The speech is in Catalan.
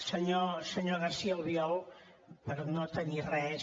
senyor garcía albiol per no tenir res